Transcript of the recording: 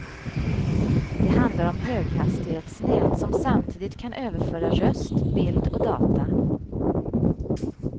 Det handlar om höghastighetsnät som samtidigt kan överföra röst, bild och data.